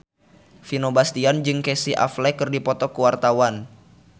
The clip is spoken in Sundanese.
Vino Bastian jeung Casey Affleck keur dipoto ku wartawan